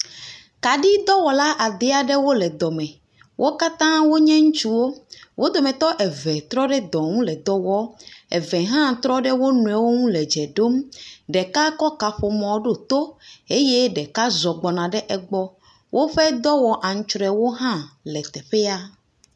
Kaɖidɔwɔ ade aɖewo le dɔ me, wo katã wonye ŋutsuwo. Wo domete eve trɔ ɖe edɔ ŋu le dɔ wɔm, eve hã trɔ ɖe wo nɔewo ŋu le dze ɖom, ɖeka kɔ kaƒomɔ ɖo to eye ɖeka zɔ gbɔna egbɔ. Woƒe dɔwɔ antsrɔewo hã le teƒea.